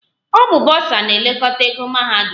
Ọ bụ bọsa na-elekọta ego mahadum